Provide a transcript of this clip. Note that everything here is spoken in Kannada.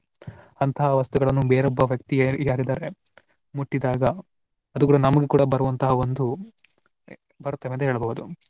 ಅಂತಹ ವಸ್ತುಗಳನ್ನು ಬೇರೊಬ್ಬ ವ್ಯಕ್ತಿಯ ಯಾರಿದ್ದರೆ ಮುಟ್ಟಿದಾಗ ಅದು ಕೂಡಾ ನಮಗೂ ಕೂಡಾ ಬರುವಂತಹ ಒಂದು ಬರ್ತವೆ ಅಂತ ಹೇಳ್ಬಹುದು.